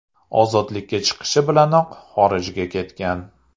Ozodlikka chiqishi bilanoq xorijga ketgan.